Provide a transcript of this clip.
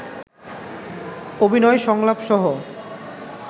অভিনয়, সংলাপ সহ